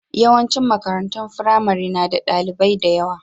Yawancin makarantun firamare na da ɗalibai da yawa.